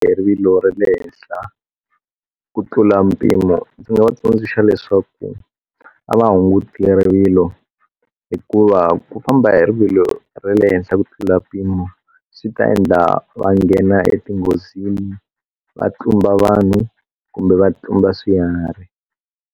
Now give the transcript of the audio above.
Hi rivilo ra le henhla ku tlula mpimo ndzi nga va tsundzuxa leswaku a va hunguti rivilo hikuva ku famba hi rivilo ra le henhla ku tlula mpimo swi ta endla va nghena e ti nghozini va tlumba vanhu kumbe va tlumba swiharhi.